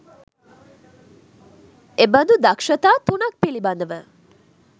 එබඳු දක්‍ෂතා 03 ක් පිළිබඳව